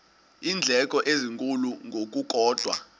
iindleko ezinkulu ngokukodwa